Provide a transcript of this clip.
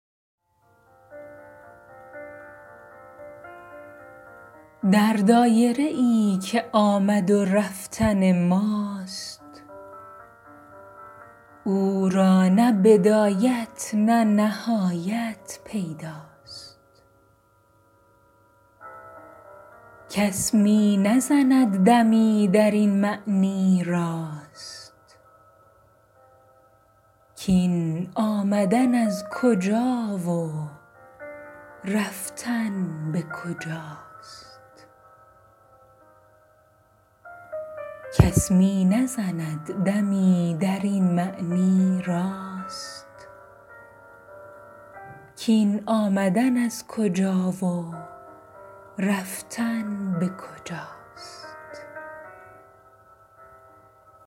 در دایره ای که آمد و رفتن ماست او را نه بدایت نه نهایت پیدا ست کس می نزند دمی در این معنی راست کاین آمدن از کجا و رفتن به کجاست